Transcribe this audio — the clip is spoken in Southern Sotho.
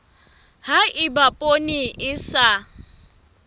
ha eba poone e sa